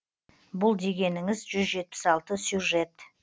бұл дегеніңіз жүз жетпіс алты сюжет